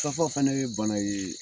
fana ye bana ye